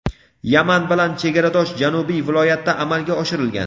Yaman bilan chegaradosh janubiy viloyatda amalga oshirilgan.